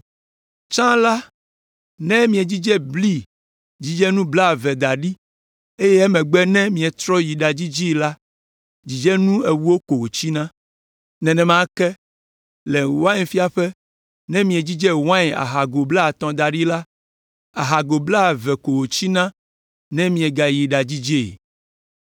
Tsã la, ne miedzidze bli dzidzenu blaeve da ɖi eye emegbe ne mietrɔ yi ɖadzidzee la dzidzenu ewo ko wòtsina. Nenema ke, le wainfiaƒe, ne miedzidze wain ahago blaatɔ̃ da ɖi la, ahago blaeve ko wòtsina ne miegayi ɖadzidzee.